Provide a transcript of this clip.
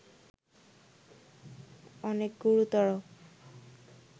অনেক গুরুতর